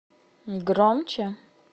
громче